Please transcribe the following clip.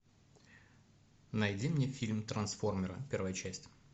найди мне фильм трансформеры первая часть